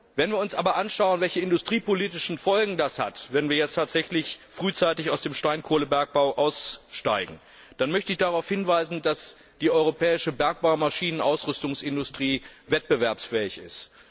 Wenn wir uns aber anschauen, welche industriepolitischen Folgen es hat, wenn wir jetzt tatsächlich frühzeitig aus dem Steinkohlebergbau aussteigen, möchte ich darauf hinweisen, dass die europäische Bergbaumaschinenausrüstungsindustrie wettbewerbsfähig ist.